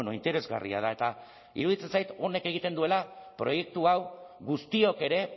interesgarria da eta iruditzen zait honek egiten duela proiektu hau guztiok ere